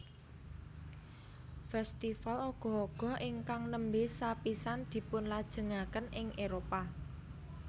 Festival Ogoh Ogoh ingkang nembe sapisan dipunlajengaken ing Éropah